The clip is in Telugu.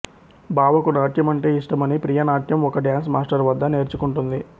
బావకు నాట్యం అంటే ఇష్టమని ప్రియ నాట్యం ఒక డ్యాన్స్ మాస్టర్ వద్ద నేర్చుకుంటుంది